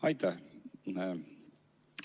Aitäh!